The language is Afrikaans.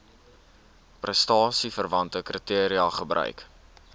prestasieverwante kriteria gebruik